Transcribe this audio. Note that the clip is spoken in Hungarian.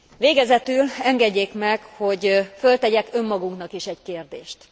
Végezetül engedjék meg, hogy feltegyek önmagunknak is egy kérdést.